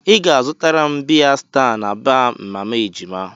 Ị ga-azụtara m biya sta na baa mama ejima.